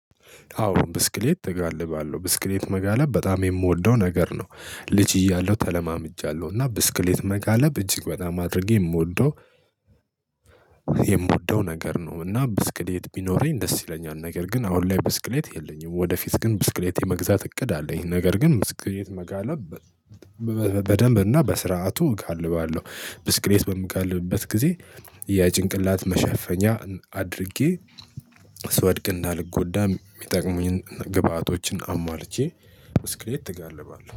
አዎ ብስክሌት እጋልባለሁ ብስክሌት መጋለብ በጣም የምወደው ነገር ነው። ልጅ እያለሁ ተለማምጃለሁ እና ብስክሌት መጋለብ እጅግ በጣም አድርጌ የምወደው የምወደው ነገር ነው። እና ብስክሌት ቢኖረኝ ደስ ይለኛል ነገር ግን አሁን ላይ ብስክሌት የለኝም። ወደፊት ግን ብስክሌት የመግዛት እቅድ አለኝ። ነገር ግን ብስክሌት መጋለብ በደንብ እና በስርዓቱ እጋልባለሁ። ብስክልት በምጋልብበት ጊዜ የጭንቅላት መሸፈኛ አድርጌ ስወድቅ እንዳልጎዳ የሚጠቅሙኝን ግብአቶችን አሟልቼ ስክሌት እጋልባለሁ